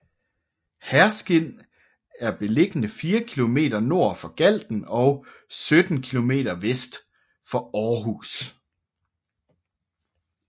Herskind er beliggende fire kilometer nord for Galten og 17 kilometer vest for Aarhus